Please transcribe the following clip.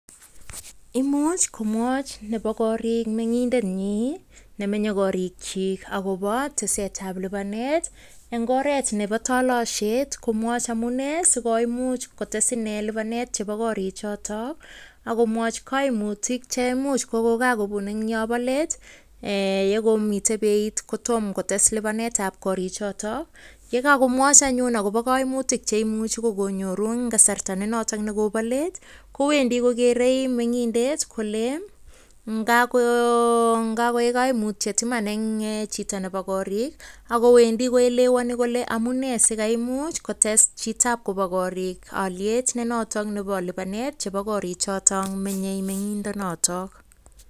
Imuch komwochi nebo korik meng'indenyin nemenye korikyik agobo tesetab lipanet en ngoret nebo tolosiet komwochi amune sikoimuch kotes inee lipanet chebo korik choto agomwochi koimutik che imuch kokogabun en yo bo let ye komiten beit kotom kotes lipanetab korichoto. Ye kagomwochi anyun agobo koimutik che imuch kogonyoru en kasarta nenoton kogobo let kowendi kogeere meng'indet kole ngakoik koimutyet iman en chito nebo korik ago wendi koelewani kole amunee sikaimuch kotes chitab kobo korik olyet ne noto nebo lipanet chebo koring choto menye meng'indonoto.